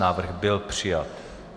Návrh byl přijat.